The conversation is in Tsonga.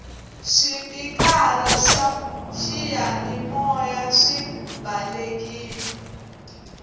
swipikara swa xiyani maya swi balekile